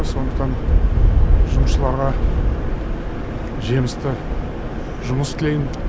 сондықтан жұмысшыларға жемісті жұмыс тілеймін